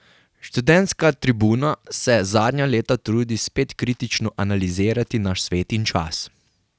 Študentska Tribuna se zadnja leta trudi spet kritično analizirati naš svet in čas.